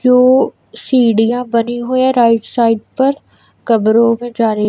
जो सीढ़ियां बनी हुई हैं राइट साइड पर कमरों में जा रही--